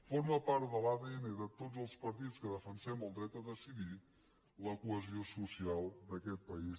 forma part de l’adn de tots els partits que defensem el dret a decidir la cohesió social d’aquest país